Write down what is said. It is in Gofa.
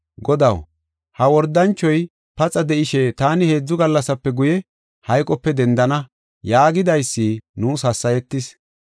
“Godaw, ha wordanchoy paxa de7ishe, ‘Taani heedzu gallasape guye, hayqope dendana’ yaagidaysi nuus hassayetis.